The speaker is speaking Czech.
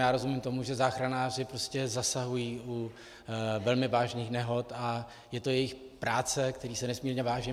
Já rozumím tomu, že záchranáři zasahují u velmi vážných nehod, a je to jejich práce, které si nesmírně vážím.